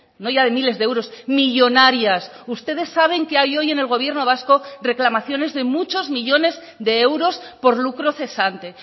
no ya de miles de euros millónarias ustedes saben que hay hoy en el gobierno vasco reclamaciones de muchos millónes de euros por lucro cesante